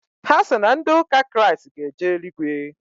Ha sị na ndị ụka Kraịst ga-eje eluigwe.